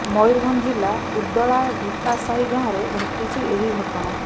ମୟୂରଭଞ୍ଜ ଜିଲ୍ଲା ଉଦଳା ଢିପାସାହି ଗାଁରେ ଘଟିଛି ଏହି ଘଟଣା